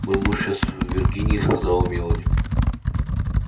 мой муж сейчас в виргинии сказала мелани